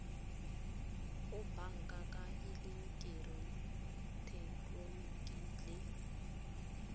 go banka ka eleketeroniki le